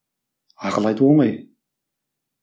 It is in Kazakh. ақыл айту оңай